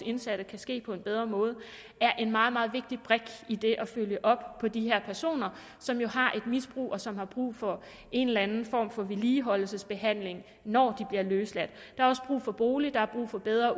indsatte kan ske på en bedre måde er en meget meget vigtig brik i det at følge op på de her personer som jo har et misbrug og som har brug for en eller anden form for vedligeholdelsesbehandling når de bliver løsladt der er også brug for bolig og der er brug for bedre